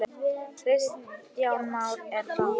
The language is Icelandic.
Kristján Már: Er það?